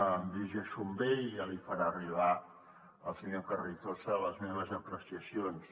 em dirigeixo a ell i ja li farà arribar al senyor carrizosa les meves apreciacions